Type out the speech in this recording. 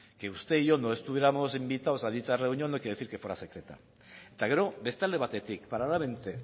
que usted y yo no estuviéramos invitados a dicha reunión no quiere decir que fuera secreta eta gero beste alde batetik paralelamente